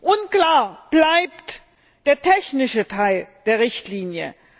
Unklar bleibt der technische Teil der Richtlinie.